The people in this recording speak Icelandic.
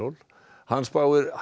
hann spáir hægri